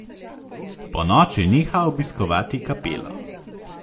Ponoči neha obiskovati kapelo.